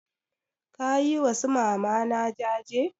Ka yi wa su mamana jaje?